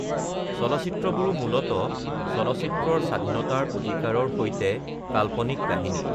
চলচ্চিত্ৰবোৰো মূলতঃ চলচ্চিত্ৰৰ স্বাধীনতাৰ অধিকাৰৰ সৈতে কাল্পনিক কাহিনী!